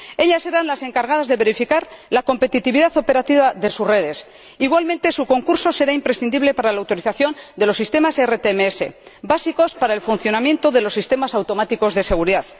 Ellas serán las encargadas de verificar la competitividad operativa de sus redes. Igualmente, su concurso será imprescindible para la autorización de los sistemas ERTMS, básicos para el funcionamiento de los sistemas automáticos de seguridad.